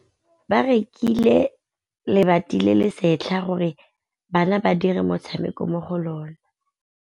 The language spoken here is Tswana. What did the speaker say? Ba rekile lebati le le setlha gore bana ba dire motshameko mo go lona.